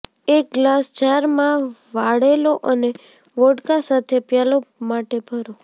એક glass jar માં વાળેલો અને વોડકા સાથે પ્યાલો માટે ભરો